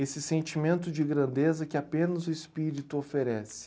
Esse sentimento de grandeza que apenas o espírito oferece.